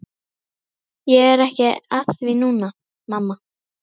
Ég er ekki að því núna, mamma.